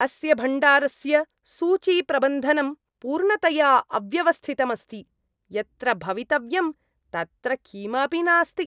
अस्य भण्डारस्य सूचीप्रबन्धनं पूर्णतया अव्यवस्थितम् अस्ति। यत्र भवितव्यं तत्र किमपि नास्ति।